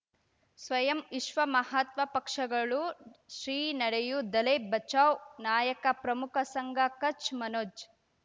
ಸ್ವಯಂ ವಿಶ್ವ ಮಹಾತ್ಮ ಪಕ್ಷಗಳು ಶ್ರೀ ನಡೆಯೂ ದಲೈ ಬಚೌ ನಾಯಕ ಪ್ರಮುಖ ಸಂಘ ಕಚ್ ಮನೋಜ್